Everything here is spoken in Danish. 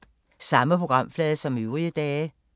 Samme programflade som øvrige dage